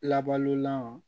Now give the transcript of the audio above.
Labalolan